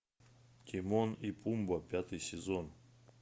тимон и пумба пятый сезон